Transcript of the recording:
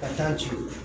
Ka taa ten